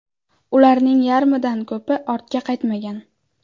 Ularning yarmidan ko‘pi ortga qaytmagan.